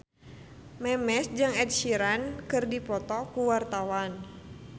Memes jeung Ed Sheeran keur dipoto ku wartawan